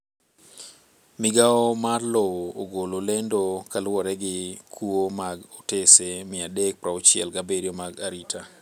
Migao mar lowo ogolo lendo kaluwore gi kuo mag otese 367 mag arita.